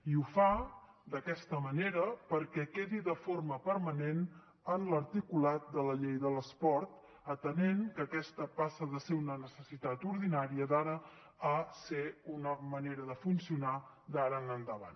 i ho fa d’aquesta manera perquè quedi de forma permanent en l’articulat de la llei de l’esport atenent que aquesta passa de ser una necessitat ordinària d’ara a ser una manera de funcionar d’ara endavant